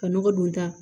Ka nɔgɔ don da